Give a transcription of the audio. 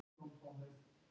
eff og afl.